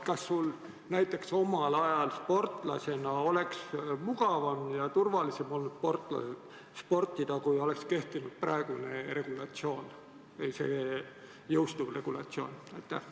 Kas sul näiteks omal ajal sportlasena oleks olnud mugavam ja turvalisem sportida, kui oleks kehtinud praegune või see jõustuv regulatsioon?